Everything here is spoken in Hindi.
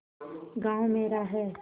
गॉँव मेरा है